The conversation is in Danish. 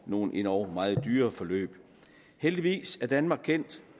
nogle endog meget dyre forløb heldigvis er danmark kendt